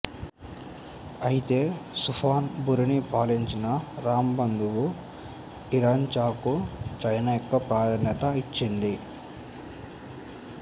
అయితే సుఫాన్ బురిని పాలించిన రామ్ బంధువు ఇంరాచాకు చైనా ఎక్కువ ప్రాధాన్యత ఇచింది